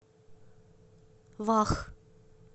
вах